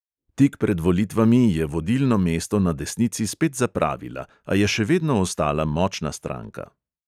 Tik pred volitvami je vodilno mesto na desnici spet zapravila, a je še vedno ostala močna stranka.